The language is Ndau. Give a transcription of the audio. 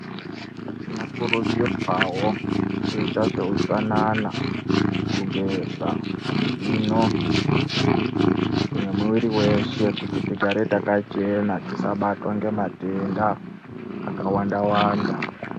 Tinokurudzirwa wawo kuita zveutsanana kugeza mazino nemiviri weshe kuti tigare takachena kuti tisabatwa ngematenda akawanda wanda.